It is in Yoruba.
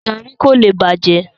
Garri ko le bajẹ.